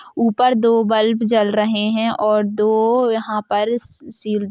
ऊपर दो बल्ब जल रहे है और दो यहां पर स-सी --